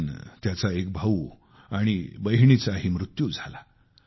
दरम्यान त्याचा एक भाऊ आणि एक बहिणीचाही मृत्यू झाला